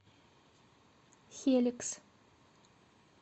хеликс